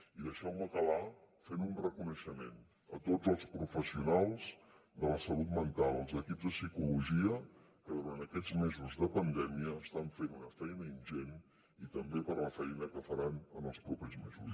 i deixeu me acabar fent un reconeixement a tots els professionals de la salut mental als equips de psicologia que durant aquests mesos de pandèmia estan fent una feina ingent i també per la feina que faran en els propers mesos